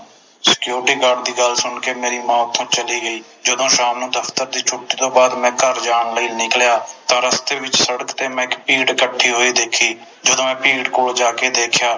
Security Guard ਦੀ ਗੱਲ ਸੁਣ ਕੇ ਮੇਰੀ ਮਾਂ ਓਥੋਂ ਚਲੀ ਗਈ ਜਦੋ ਸ਼ਾਮ ਨੂੰ ਦਫਤਰ ਦੀ ਛੁੱਟੀ ਤੋਂ ਬਾਦ ਮੈਂ ਘਰ ਜਾਣ ਲਈ ਨਿਕਲਿਆ ਤਾ ਰਸਤੇ ਵਿਚ ਸੜਕ ਤੇ ਮੈਂ ਇਕ ਭੀੜ ਇਕਠੀ ਖੜ੍ਹੀ ਹੋਈ ਦੇਖੀ ਜਦੋ ਮੈਂ ਭੀੜ ਕੋਲ ਜਾਕੇ ਦੇਖਿਆ